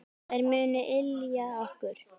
Þær munu ylja okkur.